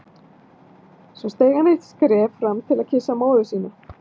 Svo steig hann eitt skref fram til að kyssa móður sína.